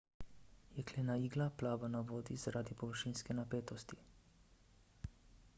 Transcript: jeklena igla plava na vodi zaradi površinske napetosti